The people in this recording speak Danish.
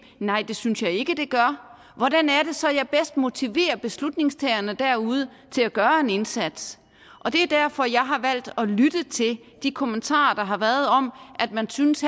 nej det synes jeg ikke det gør hvordan er det så jeg bedst motiverer beslutningstagerne derude til at gøre en indsats det er derfor jeg har valgt at lytte til de kommentarer der har været om at man synes